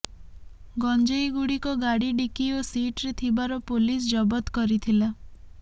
ଗଞ୍ଜେଇ ଗୁଡ଼ିକ ଗାଡ଼ି ଡିକି ଓ ସିଟରେ ଥିବାର ପୋଲିସ ଜବଦ କରି ଥିଲା